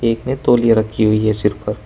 एक ने तौलिया रखी हुई है सिर पर --